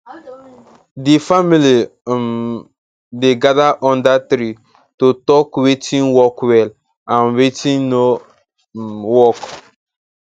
the family um dey gather under tree to talk watin work well and watin no um work